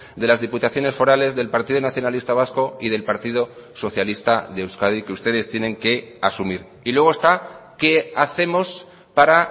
de las diputaciones forales del partido nacionalista vasco y del partido socialista de euskadi que ustedes tienen que asumir y luego está qué hacemos para